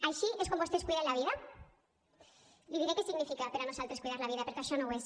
així és com vostès cuiden la vida li diré què significa per a nosaltres cuidar la vida perquè això no ho és